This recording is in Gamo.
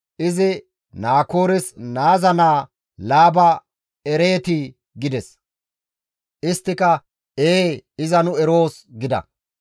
izi, «Naakoores naaza naa Laaba ereetii?» gides. Isttika, «Ee, iza nu eroos» gida.